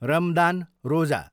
रमदान, रोजा